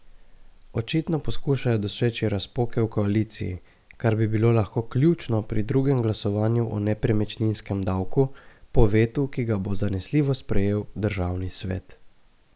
Očitno poskušajo doseči razpoke v koaliciji, kar bi bilo lahko ključno pri drugem glasovanju o nepremičninskem davku, po vetu, ki ga bo zanesljivo sprejel državni svet.